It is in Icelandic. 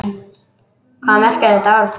Hvað merkir þetta orð?